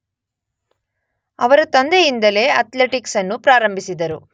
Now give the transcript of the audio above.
ಅವರ ತಂದೆಯಿಂದಲೇ ಅಥ್ಲೆಟಿಕ್ಸ್ ಅನ್ನು ಪ್ರಾರಂಭಿಸಿದರು.